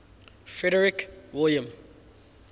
frederick william